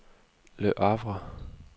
Le Havre